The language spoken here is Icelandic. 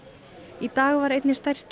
í dag var einni stærstu